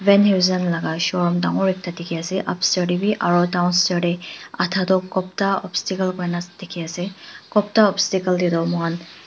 van heusen laga showroom dangor ekta dikhi ase upstair de b aro downstair de adda toh gupta opstacle kuri gina dikhi ase gupta opstacle de toh moikhan--